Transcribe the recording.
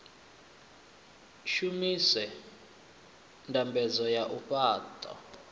shumise ndambedzo ya u fhaṱa